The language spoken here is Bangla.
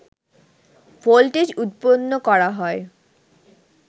ভোল্টেজ উৎপন্ন করা হয়